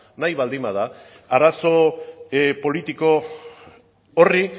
nahi baldin bada arazo politiko horri